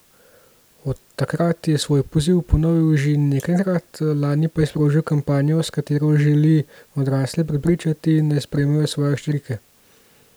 Od takrat je svoj poziv ponovil že nekajkrat, lani pa je sprožil kampanjo, s katero želi odrasle prepričati, naj sprejmejo svoje hčerke.